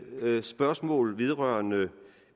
spørgsmål vedrørende